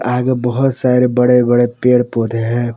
आगे बहुत सारे बड़े बड़े पेड़ पौधे हैं।